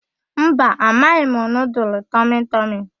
Mba, amaghị m nudul tọmịtọmị.